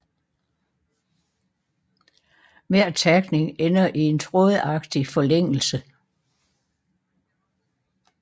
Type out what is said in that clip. Hver takning ender i en trådagtig forlængelse